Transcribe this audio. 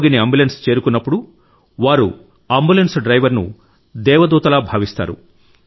రోగిని అంబులెన్స్ చేరుకున్నప్పుడు వారు అంబులెన్స్ డ్రైవర్ ను దేవదూతలా భావిస్తారు